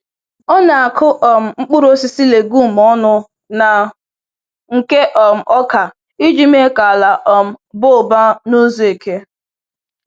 Ọ na-akụ um mkpụrụ osisi legume ọnụ na nke um ọka iji mee ka ala um baa ụba n’ụzọ eke.